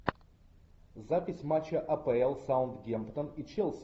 запись матча апл саутгемптон и челси